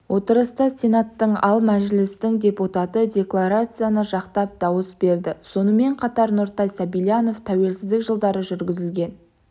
отырыста сенаттың ал мәжілістің депутаты декларацияны жақтап дауыс берді сонымен қатар нұртай сабильянов тәуелсіздік жылдары жүргізілген